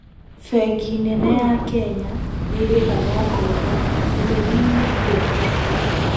Bengi nene ya Kenya nĩrĩhaga ngoombo ithenya -inĩ ria thirikari